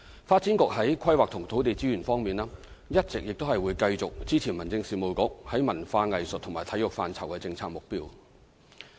發展局在規劃及土地資源方面會一直繼續支持民政事務局在文化藝術及體育範疇的政策目標。